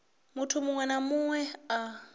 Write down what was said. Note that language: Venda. munthu muṅwe na muṅwe a